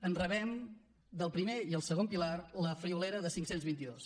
en rebem del primer i el segon pilar la friolera de cinc cents i vint dos